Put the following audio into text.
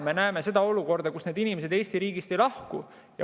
Me näeme olukorda, kus need inimesed Eesti riigist ei lahku.